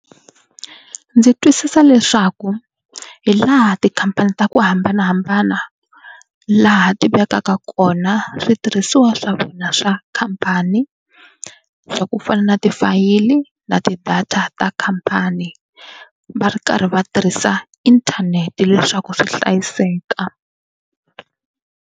Ndzi twisisa leswaku hi laha tikhampani ta ku hambanahambana laha ti vekaka kona switirhisiwa swa vona swa khampani swa ku fana na tifayili na ti-data ta khampani va ri karhi va tirhisa inthanete leswaku swi hlayiseka.